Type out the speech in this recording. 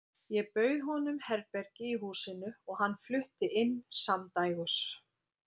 Ég bauð honum herbergi í húsinu og hann flutti inn samdægurs.